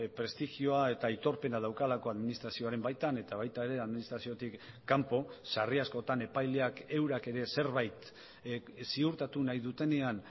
prestigioa eta aitorpena daukalako administrazioaren baitan eta baita ere administraziotik kanpo sarri askotan epaileak eurak ere zerbait ziurtatu nahi dutenean